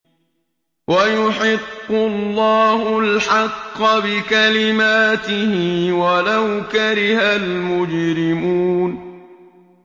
وَيُحِقُّ اللَّهُ الْحَقَّ بِكَلِمَاتِهِ وَلَوْ كَرِهَ الْمُجْرِمُونَ